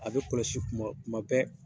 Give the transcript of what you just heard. A bɛ kɔlɔsi kuma kuma bɛɛ.